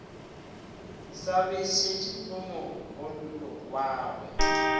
sa bešetše mo go mogolwagwe